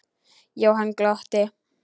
Jóhann glotti.